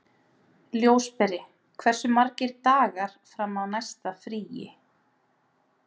Ljósberi, hversu margir dagar fram að næsta fríi?